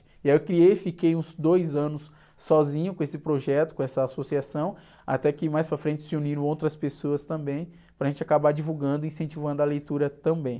E aí eu criei, fiquei uns dois anos sozinho com esse projeto, com essa associação, até que mais para frente se uniram outras pessoas também, para a gente acabar divulgando e incentivando a leitura também.